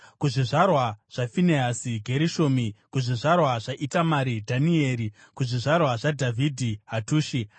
kuzvizvarwa zvaFinehasi, Gerishomi; kuzvizvarwa zvaItamari, Dhanieri; kuzvizvarwa zvaDhavhidhi, Hatushi